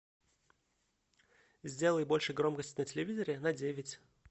сделай больше громкость на телевизоре на девять